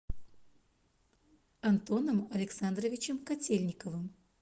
антоном александровичем котельниковым